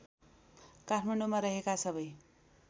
काठमाडौँमा रहेका सबै